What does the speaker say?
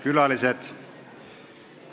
Külalised!